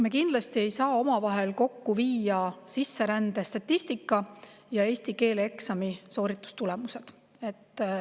Me kindlasti ei saa omavahel kokku viia sisserändestatistikat ja eesti keele eksami sooritamise tulemusi.